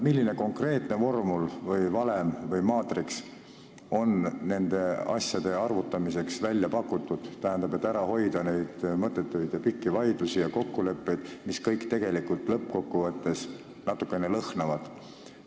Milline konkreetne vormel, valem või maatriks on nende asjade arvutamiseks välja pakutud, et hoida ära mõttetuid pikki vaidlusi ja kokkuleppeid, mis kõik tegelikult lõppkokkuvõttes natukene lõhnavad?